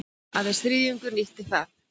Aðeins þriðjungur nýtti það